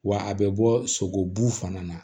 Wa a bɛ bɔ sogobu fana na